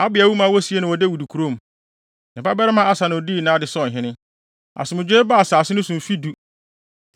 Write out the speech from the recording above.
Abia wu ma wosiee no wɔ Dawid kurom. Ne babarima Asa na odii nʼade sɛ ɔhene. Asomdwoe baa asase no so mfe du.